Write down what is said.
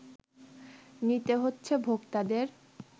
নিতে হচ্ছে ভোক্তাদের